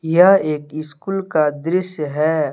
यह एक स्कूल का दृश्य है।